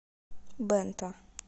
бэнто